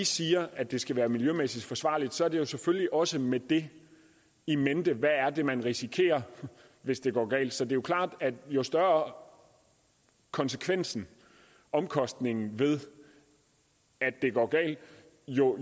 siger at det skal være miljømæssigt forsvarligt er det selvfølgelig også med det in mente hvad er det man risikerer hvis det går galt så det er jo klart at jo større konsekvensen omkostningen er ved at det går galt jo